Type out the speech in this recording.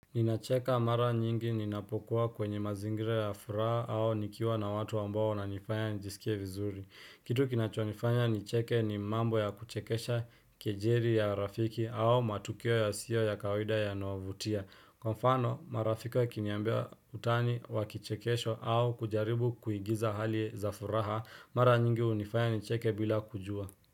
Ninacheka mara nyingi ninapokuwa kwenye mazingire ya furaha au nikiwa na watu ambao wananifanya njisikie vizuri. Kitu kinachonifanya nicheke ni mambo ya kuchekesha kejeli ya rafiki au matukio yasio ya kawida yanayovutia. Kwa mfano, marafiki wakiniambia utani wa kichekesho au kujaribu kuigiza hali za furaha, mara nyingi hunifanya nicheke bila kujua.